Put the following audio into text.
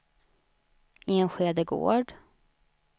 Enskede Gård